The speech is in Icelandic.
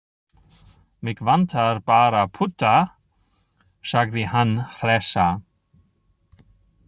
Mig vantar bara putta, sagði hann hlessa.